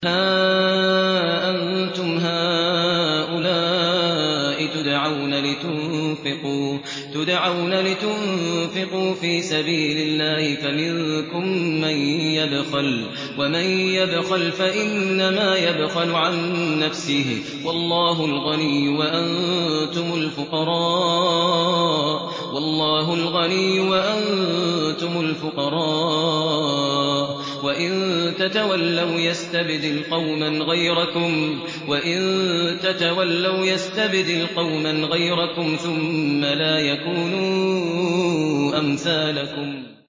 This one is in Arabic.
هَا أَنتُمْ هَٰؤُلَاءِ تُدْعَوْنَ لِتُنفِقُوا فِي سَبِيلِ اللَّهِ فَمِنكُم مَّن يَبْخَلُ ۖ وَمَن يَبْخَلْ فَإِنَّمَا يَبْخَلُ عَن نَّفْسِهِ ۚ وَاللَّهُ الْغَنِيُّ وَأَنتُمُ الْفُقَرَاءُ ۚ وَإِن تَتَوَلَّوْا يَسْتَبْدِلْ قَوْمًا غَيْرَكُمْ ثُمَّ لَا يَكُونُوا أَمْثَالَكُم